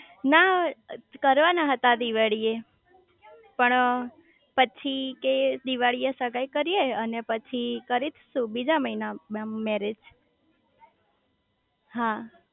ના કરવાના હતા આ દિવાળી એ પણ પછી કે દિવાળી એ સગાઈ કરીયે અને પછી કરી શુ બીજા મહિના માં મેરેજ હા